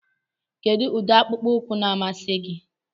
Kedu ụdị akpụkpọ ụkwụ na-amasị gị?